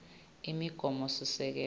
imigomosisekelo